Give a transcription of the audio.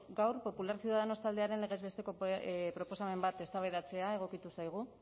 gaur popular ciudadanos taldearen legez besteko proposamen bat eztabaidatzea egokitu zaigu